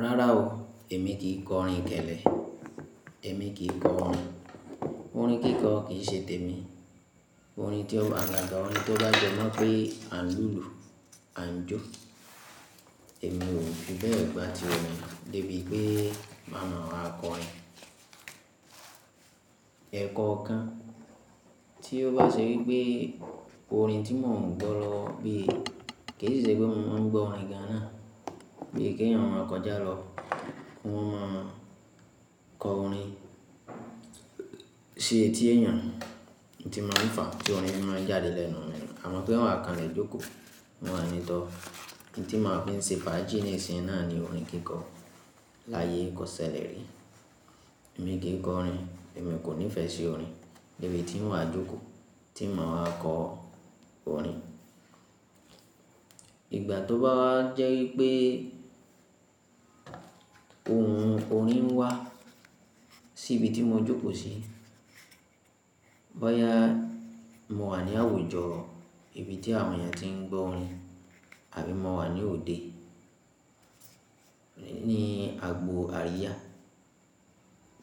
Rárá o, èmi kì í kọ orin kélé, èmi kì í kọ orin. Orin kíkọ kì í ṣe tèmi. Orin tí ó agaga orin tó bá jẹ́ mọ́ pé à ń lùlù, à ń jó, èmi ò fi bẹ́ẹ̀ gbátí rẹ̀, lébi pé màmá wa kọ orin. Ẹ̀kọ kan tí ó bá ṣe wípé orin tí mò ń gbọ́ lọ bí i, kì í ṣe pé mò ń gbọ́ orin Gánà, bí i kí ènìyàn máa kọjá lọ, wọ́n máa kọ orin Ti tí ènìyàn, ohun tí màá ń fà á tí orin fi máa jáde lẹ́nu mi nuu, àmọ́ pé n o wà kanlẹ̀ jókòó, ń o wa ní tọ́ọ̀. Ohun tí màá fi ń ṣe fàájì ní ìsìn náà ni orin kíkọ láyé kọ́ sẹ̀lè rí. Èmi kì í kọ orin, èmi kò nífẹ̀ẹ́ sí orin, lébi tí n wà jókòó tí n màá wa kọ orin. Ìgbà tó bá jẹ́ wípé ohùn orin ń wá sí ibi tí mo jókòó sí, bóyá mo wà ní àwùjọ ibi tí àwọn ènìyàn tí ń gbọ́ orin àbí mo wà ní òde, ní agbo àríyá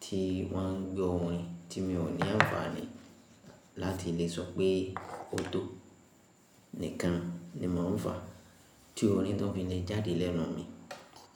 tí wọ́n ń gbọ́ orin tí mi ò ní àǹfààní láti lè sọ pé ó tó nìkan ni mò ń fà á tí orin tó fi lè jáde lẹ́nu mi.